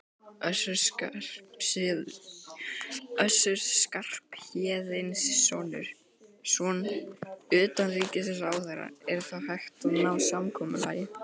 Össur Skarphéðinsson, utanríkisráðherra: Er þá hægt að ná samkomulagi?